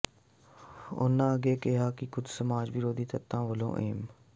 ਉਹਨਾਂ ਅੱਗੇ ਕਿਹਾ ਕਿ ਕੁਝ ਸਮਾਜ ਵਿਰੋਧੀ ਤੱਤਾਂ ਵੱਲੋਂ ਐਮ